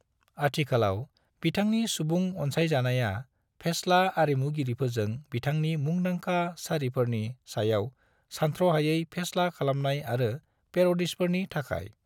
आथिखालाव बिथांनि सुबुं अनसायजानाया फेस्ला आरिमुगिरिफोरजों बिथांनि मुंदांखा सारिफोरनि सायाव सानथ्र'हायै फेस्ला खालामनाय आरो पेर'दिजफोरनि थाखाय।